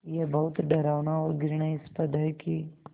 ये बहुत डरावना और घृणास्पद है कि